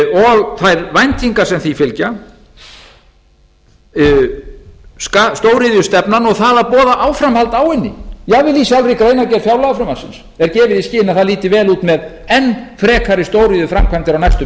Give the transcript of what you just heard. og þær væntingar sem því fylgja stóriðjustefnan og það að boða áframhald á henni jafnvel í sjálfri greinargerð fjárlagafrumvarpsins er gefið í skyn að það líti vel út með enn frekari stóriðjuframkvæmdir á næstu